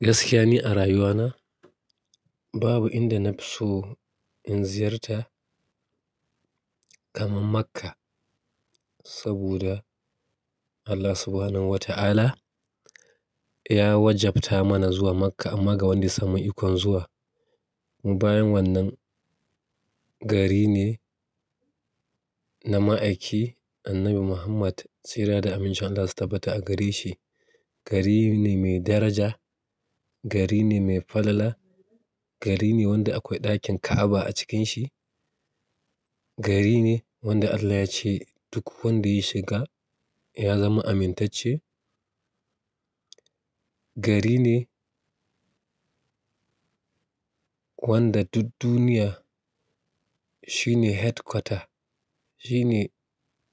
Gaskiya ni a rayuwana babu inda na fi so in ziyarta kamar Makkah saboda Allah Subhanahu wa ta'ala ya wajabta mana zuwa Makkah amma ga wanda samu ikon zuwa. Bayan wannan gari ne na ma'aiki Annabi Muhammad tsira da aminci Allah sai ta bata a gari shi. Gari ne mai daraja, gari ne mai fadala, gari ne wanda akwai ɗakin Ka'aba a cikin shi, gari ne wanda Allah yace duk wanda ya shiga ya zama amintacce, gari ne wanda duk duniya shi ne headquarter shine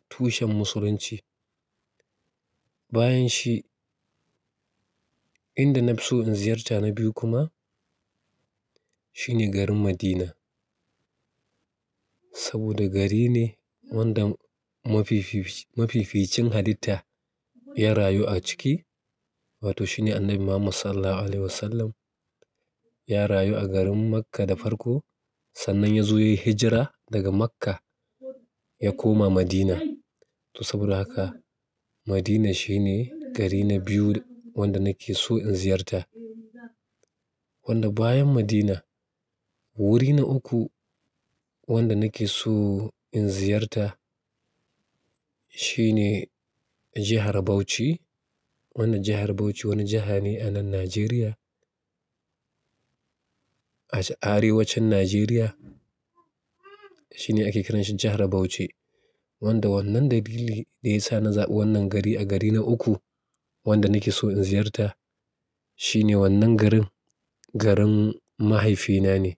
tushen musulunci. Bayan shi inda na fi so in ziyarta na biyu kuma shine garin Madina saboda gari ne wanda mafififc-- mafificin halitta ya rayu a ciki wato shine Annabi Muhammad Sallallahu Alaihi Wasallam ya rayu a garin Makkah da farko sannan ya zo yayi hijira daga makka ya koma madina to saboda haka Madina shine gari na biyu wanda nake so in ziyarta. Wanda bayan Madina wuri na uku wanda nake so in ziyarta shine jihar Bauchi. Wannan jihar Bauchi wani jiha ne a nan Najeriya a arewacin Najeriya shine ake kiranshi jihar Bauchi wanda wannan dalili da ya sa na zaɓi wannan gari a gari na uku wanda nake so in ziyarta shine wannan garin garin mahaifina ne.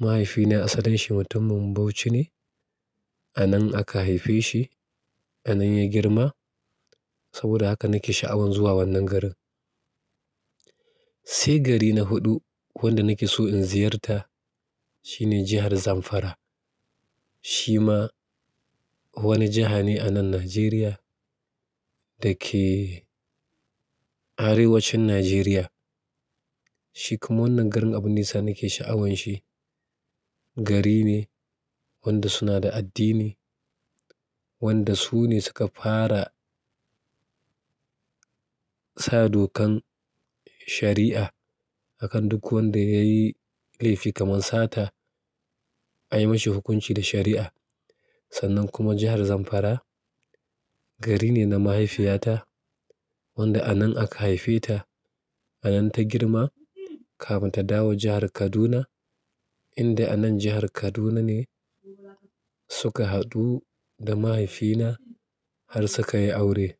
Mahaifina asalin shi mutumin Bauchi ne a nan aka haife shi, a nan ya girma saboda haka nake sha'awan zuwa wannan garin. Sai gari na huɗu wanda nake so in ziyarta shine jihar Zamfara. Shi ma wani jiha ne a nan Najeriya da ke arewacin Najeriya. Shi kuma wannan garin abun da yasa nake sha'awan shi. Gari ne wanda suna da addini, wanda su ne suka fara sa dokan shari'a akan duk wanda yayi laifi kamar sata ayi mashi hukunci da shari'a. Sannan kuma jihar Zamfara gari ne na mahaifiyata wanda a nan aka haife ta, a nan ta girma kafin ta dawo jihar Kaduna indai a nan jihar Kaduna ne suka haɗu da mahaifina har suka yi aure.